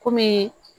Kɔmi